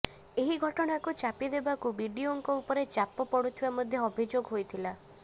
ଏହି ଘଟଣାକୁ ଚାପିଦେବାକୁ ବିଡିଓଙ୍କ ଉପରେ ଚାପ ପଡୁଥିବା ମଧ୍ୟ ଅଭିଯୋଗ ହୋଇଥିଲା